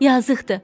yazıqdır.